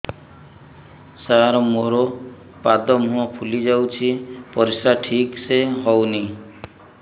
ସାର ମୋରୋ ପାଦ ମୁହଁ ଫୁଲିଯାଉଛି ପରିଶ୍ରା ଠିକ ସେ ହଉନି